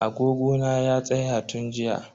Agogo na ya tsaya tun jiya.